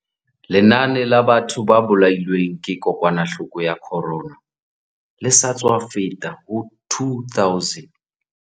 Lenane la batho ba bolailweng ke kokwanahloko ya corona le sa tswa feta ho 2 000.